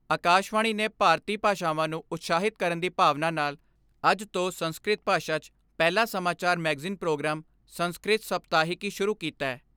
ਆਕਾਸ਼ਵਾਣੀ ਨੇ ਭਾਰਤੀ ਭਾਸ਼ਾਵਾਂ ਨੂੰ ਉਤਸ਼ਾਹਿਤ ਕਰਨ ਦੀ ਭਾਵਨਾ ਨਾਲ ਅੱਜ ਤੋਂ ਸੰਸਕ੍ਰਿਤ ਭਾਸ਼ਾ 'ਚ ਪਹਿਲਾ ਸਮਾਚਾਰ ਮੈਗਜ਼ੀਨ ਪ੍ਰੋਗਰਾਮ ਸੰਸਕ੍ਰਿਤ ਸਪਤਾਹਿਕੀ ਸ਼ੁਰੂ ਕੀਤੈ।